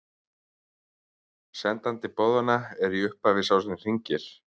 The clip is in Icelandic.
Sendandi boðanna er í upphafi sá sem hringir.